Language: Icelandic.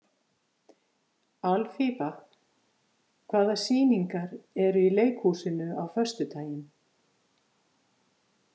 Alfífa, hvaða sýningar eru í leikhúsinu á föstudaginn?